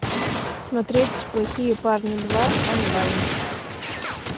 смотреть плохие парни два онлайн